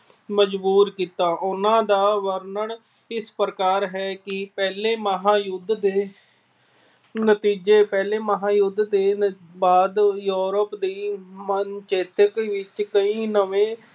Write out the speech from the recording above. ਮਜਬੂਰ ਕੀਤਾ। ਉਹਨਾਂ ਦਾ ਵਰਣਨ ਇਸ ਪ੍ਰਕਾਰ ਹੈ ਕਿ ਪਹਿਲੇ ਮਹਾਂਯੁਧ ਦੇ ਨਤੀਜੇ- ਪਹਿਲੇ ਮਹਾਂਯੁਧ ਦੇ ਬਾਅਦ Europe ਦੀ ਮਨ ਚੇਤਕ ਵਿੱਚ ਕਈ ਨਵੇਂ